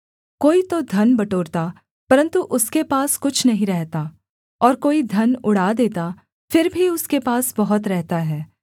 कोई तो धन बटोरता परन्तु उसके पास कुछ नहीं रहता और कोई धन उड़ा देता फिर भी उसके पास बहुत रहता है